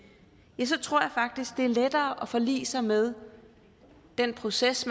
så tror jeg faktisk det er lettere at forlige sig med den proces